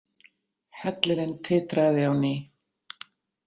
Hellirinn titraði á ný.